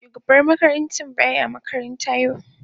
Shugaban makarantar ba ya makaranta yau.